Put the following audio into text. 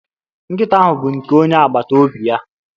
Nkịta ahụ bụ nke onye agbata obi ya.